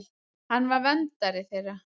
Hann var verndari þeirra.